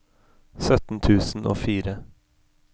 sytten tusen og fire